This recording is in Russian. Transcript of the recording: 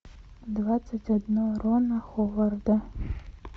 двадцать одно рона ховарда